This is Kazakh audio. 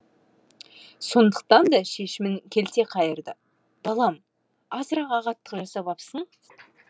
сондықтан да шешімін келте қайырды балам азырақ ағаттық жасап апсың